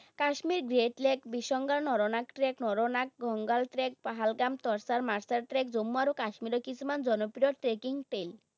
Kashmir great lake, trek, Pahalgam trek Jammu আৰু কাশ্মীৰৰ কিছুমান জনপ্ৰিয় trekking tail